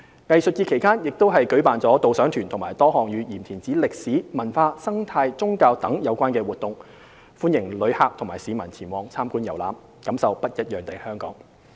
藝術節期間亦舉辦導賞團及多項與鹽田梓歷史、文化、生態、宗教等有關的活動，歡迎旅客和市民前往參觀遊覽，感受不一樣的香港。